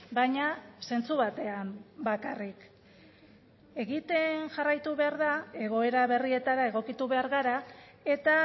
baina zentzu batean bakarrik egiten jarraitu behar da egoera berrietara egokitu behar gara eta